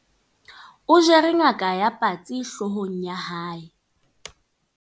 O jere ngata ya patsi hloohong ya hae.